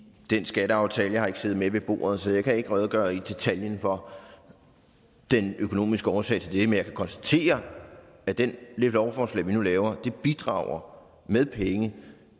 den skatteaftale jeg har ikke siddet med ved bordet så jeg kan ikke redegøre i detaljen for den økonomiske årsag til det men jeg kan konstatere at det lovforslag vi nu laver bidrager med penge